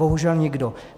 Bohužel nikdo.